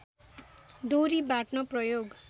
डोरी बाट्न प्रयोग